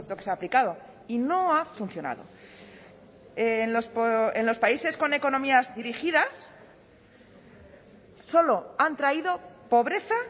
que se ha aplicado y no ha funcionado en los países con economías dirigidas solo han traído pobreza